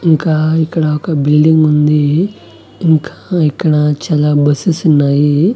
ఇంకా ఇక్కడ ఒక బిల్డింగ్ ఉంది ఇంకా ఇక్కడ చాలా బస్సెస్ ఉన్నాయి.